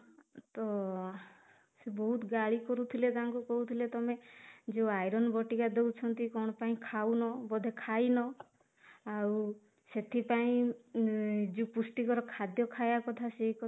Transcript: ତ ସେ ବହୁତ ଗାଳି କରୁଥିଲେ ତାଙ୍କୁ କହୁଥିଲେ ତମେ ଯୋଉ iron ବଟିକା ଦଉଛନ୍ତି କଣ ପାଇଁ ଖାଉନ ବୋଧେ ଖାଇନ ଆଉ ସେଥିପାଇଁ ଉଁ ଯୋଉ ପୃଷ୍ଟିକର ଖାଇବା କଥା ସେଇ